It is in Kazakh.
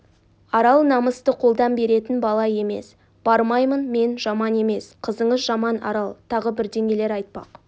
арал намысты қолдан беретін бала емес бармаймын мен жаман емес қызыңыз жаман арал тағы бірдеңелер айтпақ